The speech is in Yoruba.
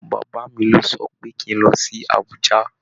Bàbá mi lọ sọ pé kín lọ sí Abùjá.